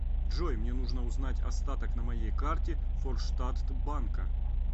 джой мне нужно узнать остаток на моей карте форштадт банка